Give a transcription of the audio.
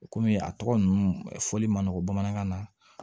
O kɔmi a tɔgɔ ninnu fɔli man nɔgɔn bamanankan na